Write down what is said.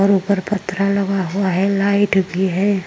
और ऊपर लगा हुआ है। लाईट भी है।